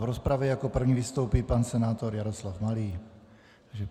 V rozpravě jako první vystoupí pan senátor Jaroslav Malý.